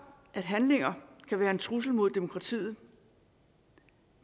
at handlinger kan være en trussel mod demokratiet